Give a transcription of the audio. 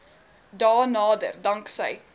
dae nader danksy